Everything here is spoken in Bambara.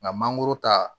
Nka mangoro ta